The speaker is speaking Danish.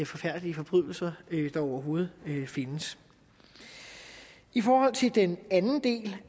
forfærdelige forbrydelser der overhovedet findes i forhold til den anden del